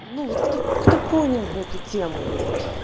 ну вот кто-кто понял бы эту тему блять